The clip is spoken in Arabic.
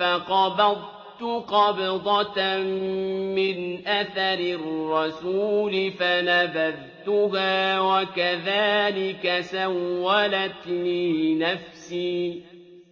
فَقَبَضْتُ قَبْضَةً مِّنْ أَثَرِ الرَّسُولِ فَنَبَذْتُهَا وَكَذَٰلِكَ سَوَّلَتْ لِي نَفْسِي